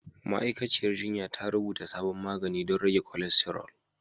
Ma'aikaciyar jinya ta rubuta sabon magani don rage kolesterol.